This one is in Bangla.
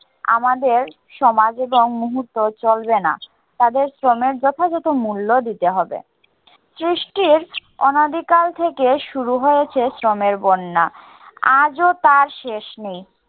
আমাদের সমাজ এবং মুহূর্তও চলবে না। তাদের শ্রমের যথাযথ মুল্য দিতে হবে। সৃষ্টির অনাদিকাল থেকে শুরু হয়েছে শ্রমের বন্যা। আজও তার শেষ নেই।